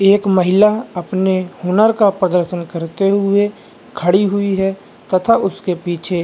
एक महिला अपने हुनर का प्रदर्शन करते हुए खड़ी हुई है तथा उसके --